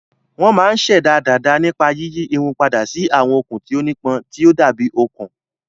Wọ́n máa ń ṣẹ̀dá dàda nípa yíyí irun padà sí àwọn okùn tí ó nípọn, tí ó dàbí okùn.